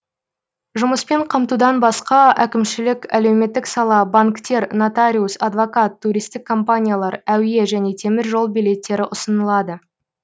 жұмыспен қамтудан басқа әкімшілік әлеуметтік сала банктер нотариус адвокат туристік компаниялар әуе және теміржол билеттері ұсынылады